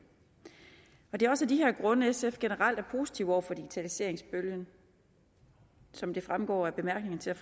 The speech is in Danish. det er også af de her grunde at sf generelt er positiv over for digitaliseringsbølgen som det fremgår af bemærkningerne til